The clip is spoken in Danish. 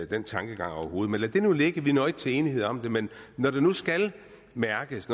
den tankegang overhovedet men lad det nu ligge vi når ikke til enighed om det men når der nu skal mærkes